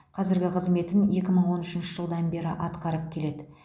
қазіргі қызметін екі мың он үшінші жылдан бері атқарып келеді